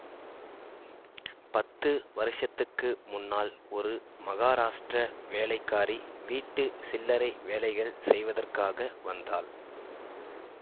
பத்து வருஷத்துக்கு முன்னால் ஒரு மகாராஷ்டிர வேலைக்காரி வீட்டு சில்லறை வேலைகள் செய்வதற்காக வந்தாள்